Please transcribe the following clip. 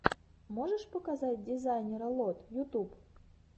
можешь показать дизайнера лод ютуб